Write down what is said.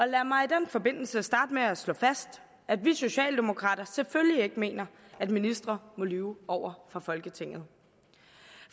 lad mig i den forbindelse starte med at slå fast at vi socialdemokrater selvfølgelig ikke mener at ministre må lyve over for folketinget